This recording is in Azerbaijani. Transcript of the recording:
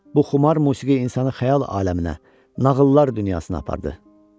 Bu xumar musiqi insanı xəyal aləminə, nağıllar dünyasına apardı.